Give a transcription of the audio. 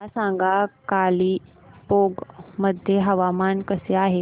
मला सांगा कालिंपोंग मध्ये हवामान कसे आहे